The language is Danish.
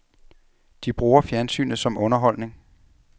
De bruger fjernsynet som underholdning.